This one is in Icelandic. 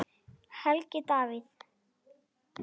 Helgi Davíð.